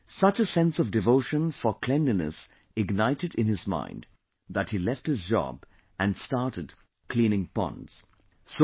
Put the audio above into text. However, such a sense of devotion for cleanliness ignited in his mind that he left his job and started cleaning ponds